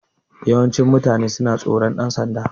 Yawancin mutane suna tsoron ɗan sanda